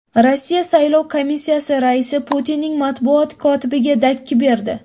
Rossiya saylov komissiyasi raisi Putinning matbuot kotibiga dakki berdi.